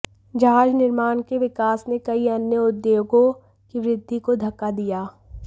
जहाज निर्माण के विकास ने कई अन्य उद्योगों की वृद्धि को धक्का दिया